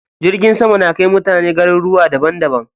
Jirgin sama na kai mutane garuruwa daban daban.